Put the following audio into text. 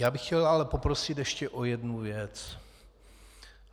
Já bych chtěl ale poprosit ještě o jednu věc.